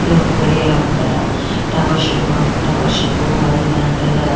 ఇదొక గడియారం అంటారా టవర్షిప్ అండ్ టవర్షిప్ అది ఇది అని అంటారు కధ.